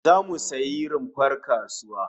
Zamu sayi rumfar kasuwa